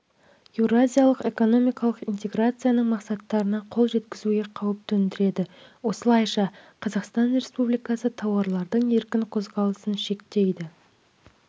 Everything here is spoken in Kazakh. еуразиялық экономикалық интеграцияның мақсаттарына қол жеткізуге қауіп төндіреді осылайша қазақстан республикасы тауарлардың еркін қозғалысын шектейді